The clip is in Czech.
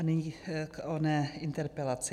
A nyní k oné interpelaci.